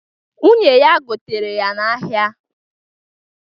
Nwunye ya gotere ya n'ahịa